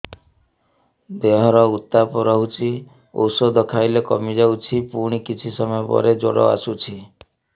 ଦେହର ଉତ୍ତାପ ରହୁଛି ଔଷଧ ଖାଇଲେ କମିଯାଉଛି ପୁଣି କିଛି ସମୟ ପରେ ଜ୍ୱର ଆସୁଛି